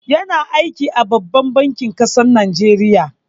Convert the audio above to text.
Ya na aiki a babban bankin kasar Najeriya